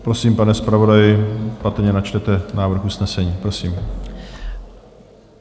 Prosím, pane zpravodaji, patrně načtete návrh usnesení, prosím.